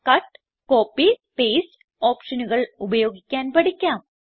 ഇപ്പോൾ cut copy paste ഓപ്ഷനുകൾ ഉപയോഗിക്കാൻ പഠിക്കാം